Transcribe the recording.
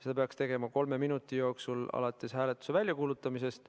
Seda peaks tegema kolme minuti jooksul alates hääletuse väljakuulutamisest.